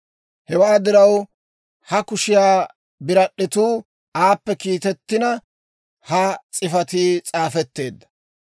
Hewaa diraw, ha kushiyaa birad'd'etuu aappe kiitettina, ha s'ifatii s'aafetteedda.